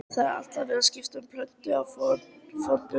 Það er alltaf verið að skipta um plötur á fóninum.